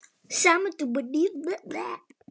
Með góðri kveðju.